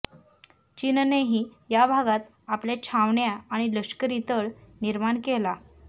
चीननेही या भागात आपल्या छावण्या आणि लष्करी तळ निर्माण केला